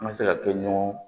An ka se ka kɛ ɲɔgɔn